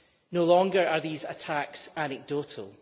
No longer are these attacks anecdotal.